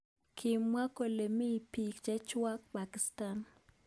Kimwa kole mi bik. chechwak Pakisatan.